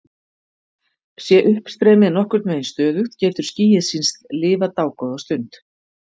Sé uppstreymið nokkurn veginn stöðugt getur skýið sýnst lifa dágóða stund.